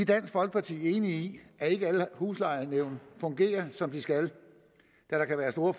dansk folkeparti enige i at ikke alle huslejenævn fungerer som de skal da der kan være store